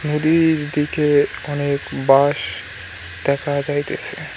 নদী-ইর দিকে অনেক বাঁশ দেখা যাইতেসে।